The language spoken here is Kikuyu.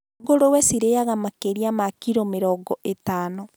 Ngũrwe cirĩaga makĩria ma kilo mĩrongo ĩtano